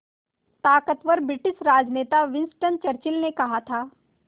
ताक़तवर ब्रिटिश राजनेता Winston Churchill ने कहा था